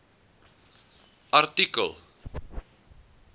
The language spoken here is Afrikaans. artikel